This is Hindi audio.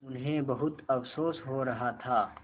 उन्हें बहुत अफसोस हो रहा था